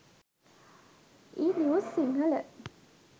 e news sinhala